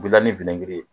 Gilanni giri